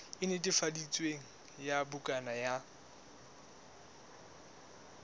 e netefaditsweng ya bukana ya